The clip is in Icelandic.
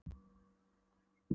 Þetta á nú að heita fjárhundur.